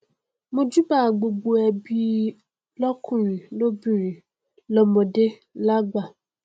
mojúbà gbogbo ẹbí lọkùnrin lóbìnrin lọmọdé lágbà